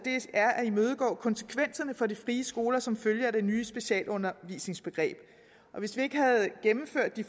er at imødegå konsekvenserne for de frie skoler som følge af det nye specialundervisningsbegreb hvis vi ikke havde gennemført de